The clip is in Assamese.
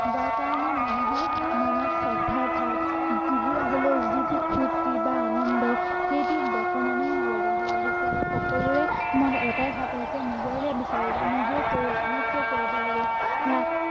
যাৰ কাৰণে মানুহৰ মনত শ্ৰদ্ধাৰ ভাৱ বিহু আহিলে যিটো ফূৰ্ত্তি বা আনন্দ সেইটো বৰ্তমানেও নলগা হৈ আহিছে আৰু সকলোৰে মনত এটাই ভাৱ আহিছে নিজৰেই বিছাৰো বা নিজেই কৰো আনৰ কিয় কৰিব লাগে বা